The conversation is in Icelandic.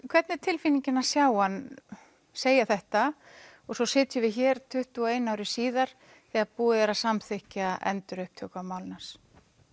hvernig er tilfinningin að sjá hann segja þetta og svo sitjum við hér tuttugu og einu ári síðar þegar búið er að samþykkja endurupptöku á málinu hans